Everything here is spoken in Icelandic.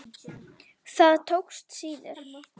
Það tókst síður.